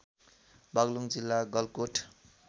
बागलुङ जिल्ला गलकोट